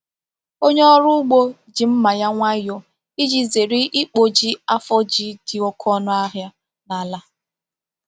Onye ọrụ ugbo ji mma ya nwayọ iji zere ịkpụji afọ ji dị oké ọnụ ahịa n’ala.